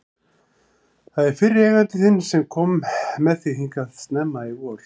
Það er fyrri eigandi þinn sem kom með þig hingað snemma í vor.